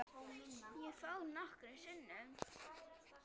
Ég fór nokkrum sinnum.